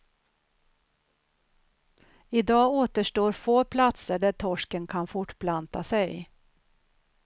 Idag återstår få platser där torsken kan fortplanta sig.